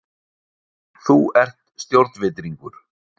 Þú ert stjórnvitringur!